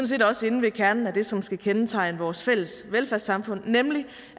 set også inde ved kernen af det som skal kendetegne vores fælles velfærdssamfund nemlig